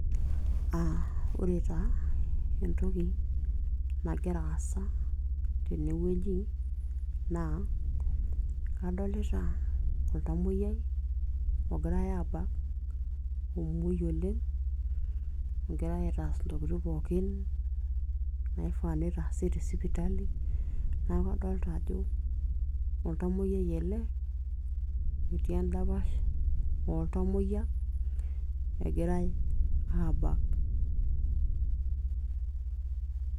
Ore taa entoki nagira aasa naa kadolita oltamoyia ogirai aabak omuoi oleng' egirai aitaas intokitin pooki naifaa neitaasi tesipitali. Neeku kadolita ajo oltamoyiai ele otii endapash ooltamoyia egirai aabak.